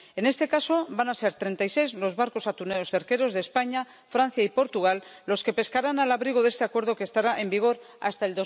En este caso van a ser treinta y seis los barcos atuneros cerqueros de España, Francia y Portugal los que pescarán al abrigo de este acuerdo que estará en vigor hasta